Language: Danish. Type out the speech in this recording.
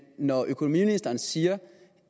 når økonomiministeren siger